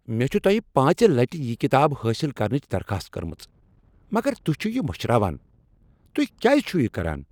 مےٚ چھےٚ تۄہہ پانژِ لٹہ یہ کتاب حٲصل کرنٕچ درخاست کٔرمٕژ مگر تہۍ چھو یہ مشراوان، تہۍ کیٛاز چھو یہ کران؟